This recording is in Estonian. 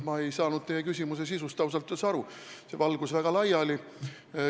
Ma ei saanud teie küsimuse sisust ausalt öeldes üldse aru, see valgus väga laiali.